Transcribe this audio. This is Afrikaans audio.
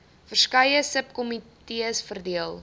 verskeie subkomitees verdeel